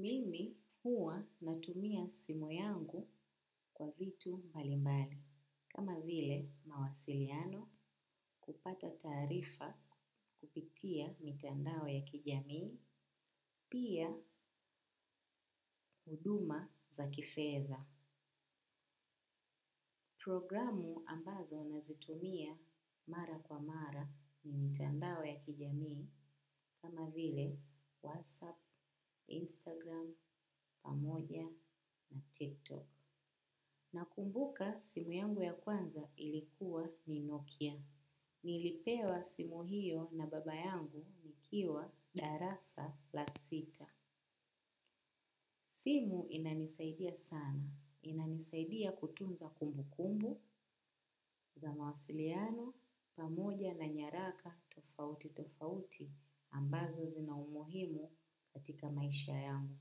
Mimi huwa natumia simu yangu kwa vitu mbali mbali, kama vile mawasiliano kupata taarifa kupitia mitandao ya kijamii, pia huduma za kifedha. Programu ambazo nazitumia mara kwa mara ni mitandao ya kijamii, kama vile WhatsApp, Instagram, pamoja na TikTok. Nakumbuka simu yangu ya kwanza ilikuwa ni Nokia. Nilipewa simu hio na baba yangu nikiwa darasa la sita. Simu inanisaidia sana. Inanisaidia kutunza kumbu kumbu za mawasiliano pamoja na nyaraka tofauti tofauti ambazo zina umuhimu katika maisha yangu.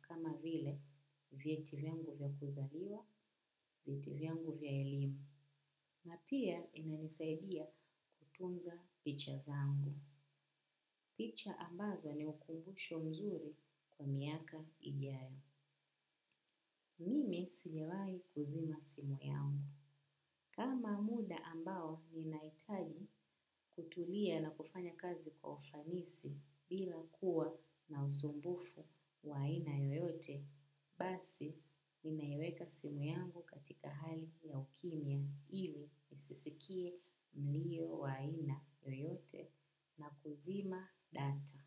Kama vile vyeti vyangu vya kuzaliwa vyeti vengu vya elimu. Napia inanisaidia kutunza picha zangu. Picha ambazo ni ukumbusho mzuri kwa miaka ijayo. Mimi sijawahi kuzima simu yangu. Kama muda ambao ninahitaji kutulia na kufanya kazi kwa ufanisi bila kuwa na usumbufu wa ana yoyote, basi ninaiweka simu yangu katika hali ya ukimya ili nisisikie mlio wa aina yoyote na kuzima data.